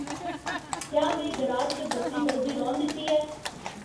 क्या में गराज च बत्ती बलदी रौह्न दित्ती ऐ